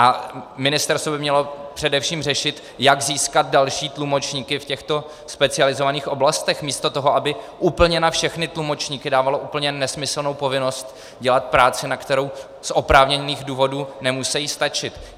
A ministerstvo by mělo především řešit, jak získat další tlumočníky v těchto specializovaných oblastech, místo toho, aby úplně na všechny tlumočníky dávalo úplně nesmyslnou povinnost dělat práci, na kterou z oprávněných důvodů nemusejí stačit.